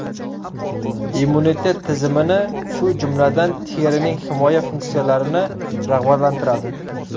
Immunitet tizimini, shu jumladan, terining himoya funksiyalarini rag‘batlantiradi.